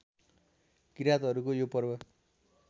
किरातहरूको यो पर्व